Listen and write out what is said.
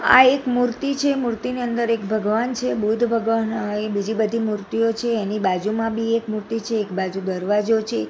આ એક મુર્તી છે મુર્તીની અંદર એક ભગવાન છે બુધ ભગવાન અ બીજી બધી મુર્તિઓ છે એની બાજુમાં બી એક મુર્તી છે એક બાજુ દરવાજો છે.